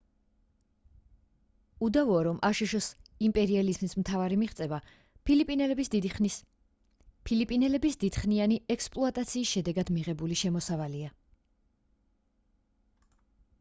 უდავოა რომ აშშ-ის იმპერიალიზმის მთავარი მიღწევა ფილიპინელების დიდხნიანი ექსპლუატაციის შედეგად მიღებული შემოსავალია